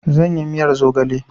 Zan yi miyar zogale